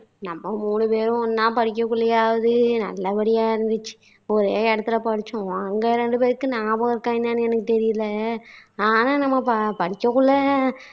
நம்ம மூணு பேரும் ஒண்ணா படிக்ககுள்ளையாவது நல்லபடியா இருந்துச்சு ஒரே இடத்துல படிச்சோம் அங்க ரெண்டு பேருக்கு ஞாபகம் இருக்கா என்னன்னு எனக்கு தெரியல ஆனா நாம ப படிக்கக்குள்ள